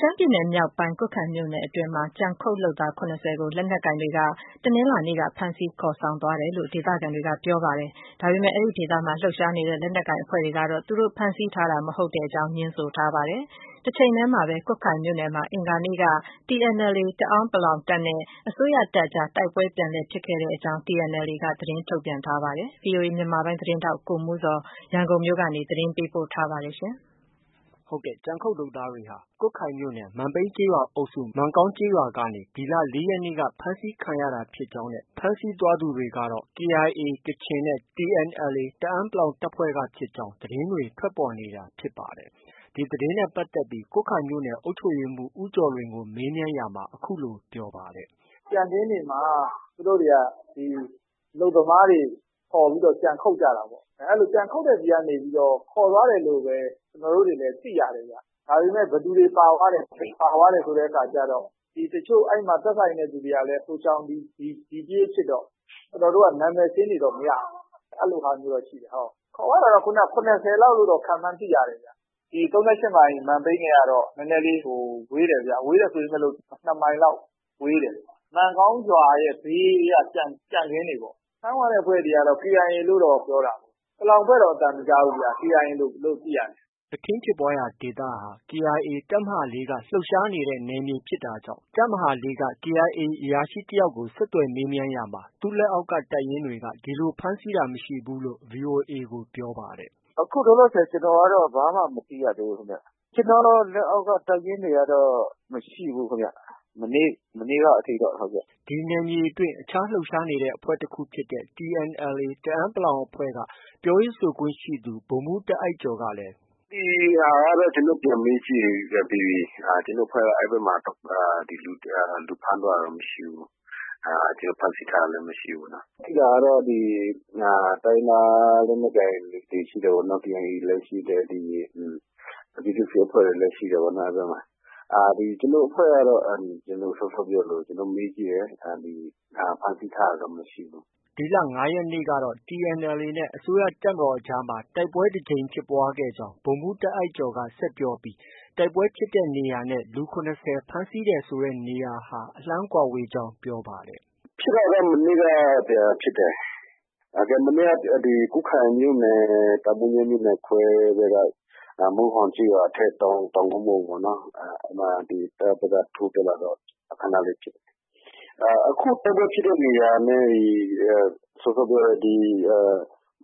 ရှမ်းပြည်နယ်မြောက်ပိုင်း ကွတ်ခိုင်မြို့နယ်အတွင်းမှာ ကြံခုတ်လုပ်သား ၇၀ကို တနင်္လာနေ့ က လက်နက်ကိုင်တွေက ဖမ်းဆီးခေါ်ဆောင်သွားတယ်လို့ ဒေသခံတွေ ကပြောဆိုပြီး ဒီဒေသအတွင်းမှာ လှုပ်ရှားနေတဲ့ လက်နက်ကိုင်အဖွဲ့တွေကတော့ သူတို့ဖမ်းဆီးတာ မရှိကြောင်း ငြင်းဆိုပါတယ်။ တစ်ဆက်တည်းမှာပဲ ကွတ်ခိုင်မြို့နယ်မှာ အင်္ဂါနေ့က TNLA တအန်း(ပလောင်)တပ်နဲ့ အစိုးရတပ်အကြား တိုက်ပွဲပြန်လည်ဖြစ်ပွားခဲ့ကြောင်း TNLA က သတင်းထုတ်ပြန်ပါတယ်။ ဒီသတင်းကိုတော့ VOA မြန်မာပိုင်းရဲ့သတင်းထောက် ကိုမိုးဇော်က ရန်ကုန်မြို့ကနေ သတင်းပေးပို့ထားပါတယ်။ ကြံခုတ်လုပ်သားတွေဟာ ကွတ်ခိုင်မြို့နယ် မန်ပြိန်းကျေးရွာအုပ်စု မန်ကောင်ရွာကနေ ဒီလ ၄ရက်နေ့က ဖမ်းဆီးခံရတာဖြစ်ကြောင်း နဲ့ ဖမ်းဆီးသွားသူတွေဟာ KIA ကချင်နဲ့ TNLA တအန်း(ပလောင်)တပ်ဖွဲ့ကဖြစ်ကြောင်း သတင်းတွေ ထွက်ပေါ်နေတာ ဖြစ်ပါတယ်။ ဒီသတင်းနဲ့ပတ်သက်ပြီး ကွတ်ခိုင်မြို့နယ် အုပ်ချုပ်ရေးမှုး ဦးကျော်လွင်ကို မေးမြန်းရာမှာ အခုလို ပြောပါတယ်။ “ကြံခင်းတွေမှာ သူတို့တွေက အလုပ်သမားတွေခေါ်ပြီးတော့ ကြံခုတ်ကြတာပေါ့။ အဲဒီ ကြံခုတ်တဲ့ဆီကနေပြီးတော့ ခေါ်သွားတယ်လို့ပဲ ကျနော်တို့တွေလည်း သိရတယ်ဗျ။ ဒါပေမဲ့ ဘယ်သူတွေ ပါသွားတယ်။ ဘယ်ပါသွားတယ်ဆိုတဲ့အခါကျတော့ တစ်ချို့ ဒီသက်ဆိုင်တဲ့သူတွေကလည်း ဟိုရှောင် ဒီပြေးဖြစ်တော့ ကျနော်တို့က နာမည်စာရင်းတွေ တော့ မရဘူး။ အဲလိုဟာမျိုးတော့ ရှိတယ်။ ခေါ်သွားတာတော့ ၇၀လောက်လို့ ခန့်မှန်း သိရတယ်။ ဒီ ၃၈မိုင် မန်ပြိန်းနဲ့ကတော့ နည်းနည်းလေး ဝေးတယ်ဗျ။ ဝေးတယ်ဆို ၂မိုင်လောက် ဝေးတယ်။ မန်ကောင်းရွာရဲ့ ဘေးက ကြံခင်းတွေပေါ့။ ဖမ်းသွားတဲ့အဖွဲ့တွေက KIA လို့တော့ ပြောတာပဲ။ ပလောင်အဖွဲ့တော့ အသံမကြားဘူးဗျ။ KIA လို့ သိရတယ်။” အခင်းဖြစ်ပွားရာဒေသဟာ KIA တပ်မဟာ ၄ က လှုပ်ရှားနေတဲ့ နယ်မြေဖြစ်တာကြောင့် တပ်မဟာ ၄ က KIA အရာရှိတစ်ဦးကို ဆက်သွယ်မေးမြန်းရာမှာ သူလက်အောက်က တပ်ရင်းတွေ က ဒီလို ဖမ်းဆီးတာမရှိဘူးလို့ VOA ကို ပြောပါတယ်။ “အခုလောလောဆည် ကျနော်ကတော့ ဘာမှ မသိရသေးဘူးခင်ဗျ။ ကျနော့ လက်အောက်က တပ်ရင်းတွေကတော့ မရှိဘူးခင်ဗျ။ မနေ့က အထိတော့ ဟုတ်ကဲ့။” ဒီနယ်မြေအတွင်း အခြားလှုပ်ရှားနေတဲ့အဖွဲ့ တစ်ခုဖြစ်တဲ့ TNLA တအန်း(ပလောင်)အဖွဲ့ ကပြောရေးဆိုခွင့်ရှိသူ ဗိုလ်မှုး တာ့အိုက်ကျော်ကလည်း “ ဒီဟာကတော့ ကျနော်တို့ ပြန်မေးကြည့်ပြီးပြီ။ ကျနော်တို့အဖွဲ့က အဲဒီဘက်မှာ လူဖမ်းသွားတာတော့ မရှိဘူး။ ဖမ်းဆီးထားတာလည်း မရှိဘူး။ ရှိတာကတော့ ဒီ တိုင်းရင်းသားလက်နက်ကိုင်အဖွဲ့တွေ ရှိတာပေါ့နော် ဒီ KIA လည်း ရှိတယ်။ ဒီ ပြည်သူစစ်တွေလည်း ရှိတာပေါ့နော် အဲဒီဘက်မှာ။ ကျနော်တို့ အဖွဲ့ကတော့စောစောက ပြောသလို ကျနော်တို့ မေးကြည့်တယ်။ ဖမ်းဆီးထားတာတော့ မရှိဘူး။ ” ဒီလ ၅ရက်နေ့ကတော့ TNLA နဲ့ အစိုးရတပ်မတော်အကြားမှာ တိုက်ပွဲဖြစ်ပွားခဲ့ကြောင်း ဗိုလ်မှူး တာ့အိုက်ကျော်က ဆက်ပြောပြီး တိုက်ပွဲဖြစ်တဲ့နေရာနဲ့ လူ၇၀ ဖမ်းဆီးတယ် ဆိုတဲ့နေရာဟာ အလှမ်းကွာဝေးကြောင်း ပြောပါတယ်။ “ ဖြစ်တာတော့ မနေ့က ပြန်ဖြစ်တယ်။ မနေ့က ကွတ်ခိုင်မြို့နယ် တာမိုးညဲ မြို့နယ်ခွဲဘက် မုန်းဟွမ်ကျေးရွာထက် တောင်ကုန်းပေါ်မှာပေါ့။ ဒီ တပ်ဘက်က ထိုးတက်လာတော့ ခဏလေးဖြစ်တယ်။ အခုတိုက်ပွဲဖြစ်တဲ့နေရာနဲ့ စောစောပြောတဲ့ ဒီ